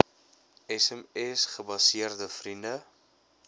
sms gebaseerde vriende